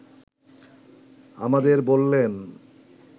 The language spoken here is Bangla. আমাদের বললেন